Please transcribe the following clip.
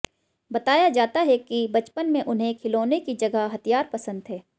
बताया जाता है कि बचपन में उन्हें खिलौनों की जगह हथियार पसंद थे